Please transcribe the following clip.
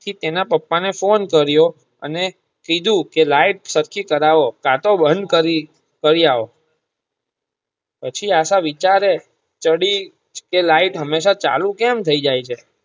એના પપા ને ફોને કરીયો અને કીધું કે લાઈટ સરખી કરવો કાટો બંધ કરી કરીયાવો પછી આશા વિચારે ચડી કે તે લાઈટ હંમેશા ચાલુ કેમ થાય જાય છે